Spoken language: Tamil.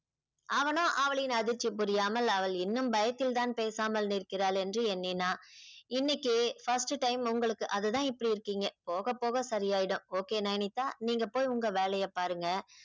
அவனோ அவளின் அதிர்ச்சி புரியாமல் அவள் இன்னும் பயத்தில்தான் பேசாமல் நிற்கிறாள் என்று எண்ணினா இன்னைக்கு first time உங்களுக்கு அதுதான் இப்படி இருக்கீங்க போகப் போக சரியாயிடும் okay நயனித்தா நீங்க போய் உங்க வேலையை பாருங்க